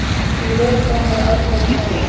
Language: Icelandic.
Í veðurspám er aðgreining erfiðari.